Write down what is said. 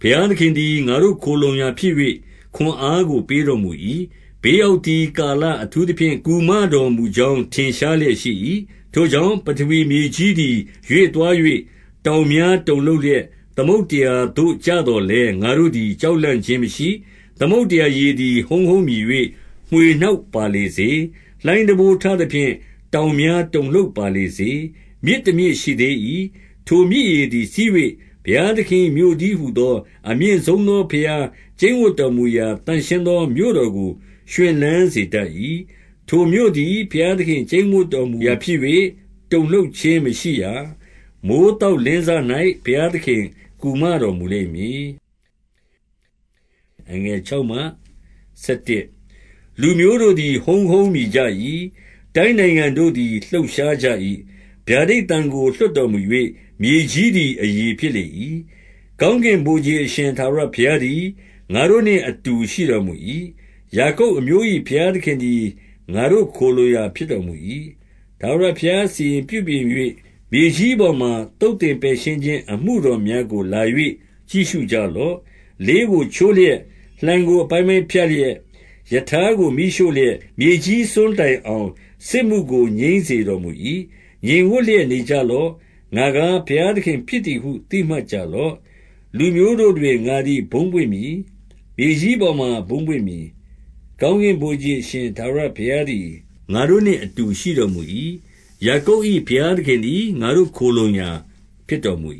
ဘုရားသခင်သည် ငါတို့ခိုလှုံရာဖြစ်၍၊ ခွန်အား ကို ပေးတော်မူ၏။ ဘေးရောက်သည်ကာလ အထူးသဖြင့် ကူမတော်မူကြောင်း ထင်ရှားလျက်ရှိ၏။ 2 ထိုကြောင့် ပထဝီမြေကြီးသည် ရွေ့သွား၍ တောင်များတုန်လှုပ်လျက် သမုဒ္ဒရာသို့ကျသော်လည်း၊ ငါတို့သည် ကြောက်လန့်ခြင်းမရှိ။ 3 သမုဒ္ဒရာရေသည် ဟုန်းဟန်းမြည်၍ မွှေနှောက်ပါ လေစေ။ လှိုင်းတံပိုးထသဖြင့်၊ တောင်များတုန်လှုပ်ပါ လေစေ။ 4 မြစ်တမြစ်ရှိသေး၏။ ထိုမြစ်ရေသည်စီး၍ ဘုရားသခင်၏ မြို့တည်းဟူသော အမြင့်ဆုံးသောဘုရား ကျိန်းဝပ်တော်မူရာ သန့်ရှင်းသော မြို့တော်ကို ရွှင်လန်း စေတတ်၏။ 5 ထိုမြို့သည် ဘုရားသခင်ကျိန်းဝပ်တော်မူရာ ဖြစ်၍ တုန်လှုပ်ခြင်း မရှိရာ။ မိုဃ်းသောက်လင်းစ၌ ဘုရားသခင်ကူမတော်မူလိမ့်မည်။ 6 လူမျိုးတို့သည် ဟုန်းဟုန်းမြည်ကြ၏။ တိုင်းနိုင်ငံ တို့သည် လှုပ်ရှားကြ၏။ ဗျာဒိတ်သံကို လွှတ်တော်မူ၍ မြေကြီးသည် အရည်ဖြစ်လေ၏။ 7 ကောင်းကင်ဗိုလ်ခြေ အရှင်ထာဝရဘုရားသည် ငါတို့နှင့်အတူရှိတော်မူ၏။ ယာကုပ်အမျိုး၏ ဘုရားသခင် သည် ငါတို့ ခိုလှုံရာဖြစ်တော်မူ၏။ 8 ထာဝရဘုရားစီရင်ပြုပြင်၍ မြေကြီးပေါ်မှာ သုတ်သင်ပယ်ရှင်းခြင်း အမှုတော်များကို လာ၍ကြည့်ရှု ကြလော့။ 9 လေးကိုချိုးလျက်၊ လှံကိုအပိုင်းပိုင်းဖြတ်လျက်၊ ရထားကိုမီးရှို့လျက်၊ မြေကြီး စွန်းတိုင်အောင် စစ်မှုကို ငြိမ်းစေတော်မူ၏။ 10 ငြိမ်ဝပ်လျက်နေကြလော့။ ငါကား ဘုရားသခင် ဖြစ်သည်ဟု သိမှတ်ကြလော့။ လူမျိုးတို့တွင် ငါသည် ဘုန်းပွင့်မည်။ မြေကြီးပေါ်မှာ ဘုန်းပွင့်မည်။ 11 ကောင်းကင်ဗိုလ်ခြေ အရှင်ထာဝရဘုရားသည် ငါတို့နှင့်အတူ ရှိတော်မူ၏။ ယာကုပ်၏ ဘုရားသခင် သည် ငါတို့ခိုလှုံရာဖြစ်တော်မူ